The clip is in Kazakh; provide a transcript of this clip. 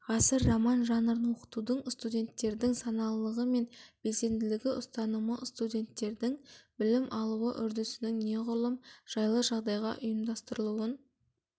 ғасыр роман жанрын оқытудың студенттердің саналылығы мен белсенділігі ұстанымы студенттердің білім алуы үрдісінің неғұрлым жайлы жағдайда ұйымдастырылуын